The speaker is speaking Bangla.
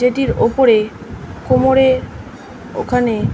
যেটির ওপরে কোমরে ওখানে--